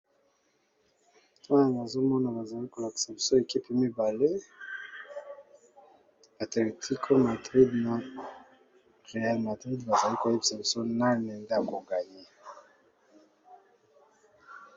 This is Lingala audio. Awa nazomona bazali kolakisa biso équipe mibale atletico madrid na réal madrid bazali koyebisa biso nani nde ako gagner.